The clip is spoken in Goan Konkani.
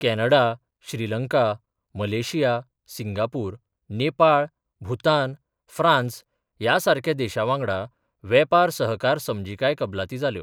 Canada, Sri Lanka, Malaysia, Singapore, Nepal, Bhutan, France ह्या सारक्या देशा वांगडा वेपार सहकार समजीकाय कबलाती जाल्यो.